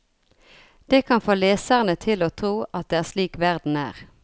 Det kan få leserne til å tro at det er slik verden er.